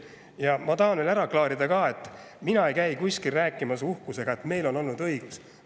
Ja ma tahan veel ära klaarida selle, et mina ei käi kuskil rääkimas uhkusega, et meil oli õigus.